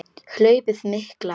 Hlaupið mikla